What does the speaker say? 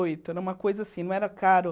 Oito era uma coisa assim, não era caro.